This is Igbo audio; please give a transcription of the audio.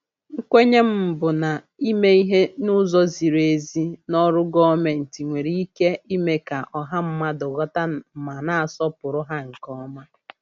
Nkwenye m bụ na ime ìhè n'ụzọ ziri ezi n'ọrụ gọọmentị nwere ike ime ka ọha mmadụ ghọta ma na-asọpụrụ ha nke ọma.